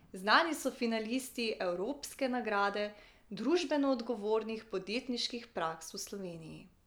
Znani so finalisti Evropske nagrade družbeno odgovornih podjetniških praks v Sloveniji.